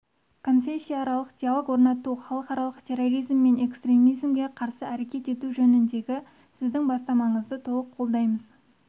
конфессияаралық диалог орнату халықаралық терроризм мен экстремизмге қарсы әрекет ету жөніндегі сіздің бастамаңызды толық қолдаймыз